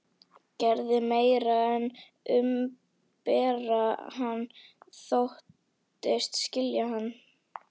Gerði meira en að umbera hann: þóttist skilja hann.